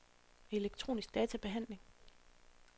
elektronisk databehandling